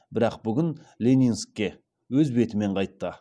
бірақ бүгін ленинскке өз бетімен қайтты